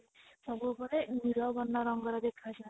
ସବୁବେଳେ ନୀଳ ବର୍ଣ୍ଣ ରଙ୍ଗର ଦେଖା ଯାନ୍ତି